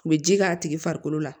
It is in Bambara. U bɛ ji k'a tigi farikolo la